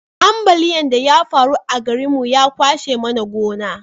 ambaliyan da ya faru a garin mu ya kwashe mana gona